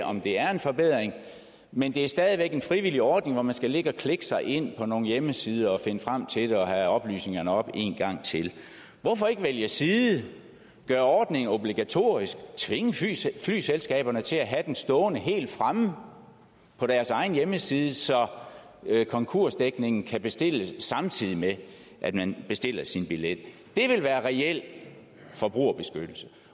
om det er en forbedring men det er stadig væk en frivillig ordning hvor man skal ligge og klikke sig ind på nogle hjemmesider og finde frem til det og have oplysningerne op en gang til hvorfor ikke vælge side gøre ordningen obligatorisk og tvinge flyselskaberne til at have den stående helt fremme på deres egen hjemmeside så konkursdækningen kan bestilles samtidig med at man bestiller sin billet det ville være reel forbrugerbeskyttelser